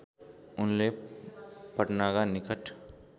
उनले पटनाका निकट